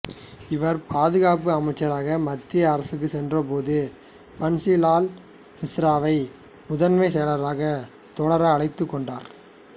இவர் பாதுகாப்பு அமைச்சராக மத்திய அரசுக்கு சென்றபோது பன்சி லால் மிஸ்ராவை முதன்மை செயலாளராக தொடர அழைத்துக் கொண்டார்